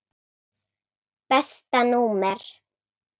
Besta númer?